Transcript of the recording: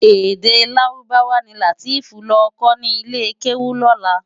Èdè Lárúbáwá ni Lateef nlò kò ni ilé kéwú lòlá.